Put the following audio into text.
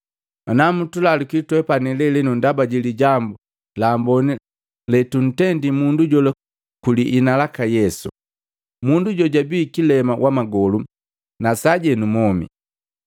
ana ntulaluki twepani lelenu ndaba jilijambu laamboni letuntendi mundu jola kwiliina lyaka Yesu. Mundu jojabii kilema wa magolu na sajenu mwomi,